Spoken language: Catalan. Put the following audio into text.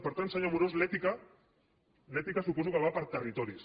per tant senyor amorós l’ètica l’ètica suposo que va per territoris